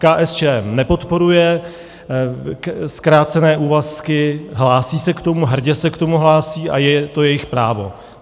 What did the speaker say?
KSČM nepodporuje zkrácené úvazky, hlásí se k tomu, hrdě se k tomu hlásí a je to jejich právo.